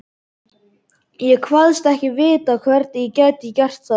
Ég kvaðst ekki vita, hvernig ég gæti gert það.